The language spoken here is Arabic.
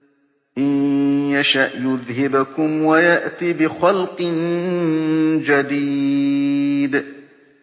إِن يَشَأْ يُذْهِبْكُمْ وَيَأْتِ بِخَلْقٍ جَدِيدٍ